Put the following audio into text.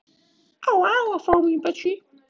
Það leka vemmilegir litir úr munnvikum hennar.